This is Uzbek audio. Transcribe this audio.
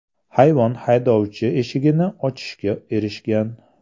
Hayvon haydovchi eshigini ochishga erishgan.